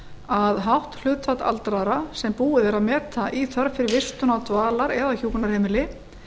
að hátt hlutfall aldraðra sem búið er að meta í þörf fyrir vistun á dvalar eða hjúkrunarheimili